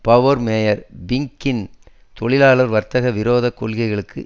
borough mayor பிங்கின் தொழிலாளர் வர்த்தக விரோதக் கொள்கைகளுக்கு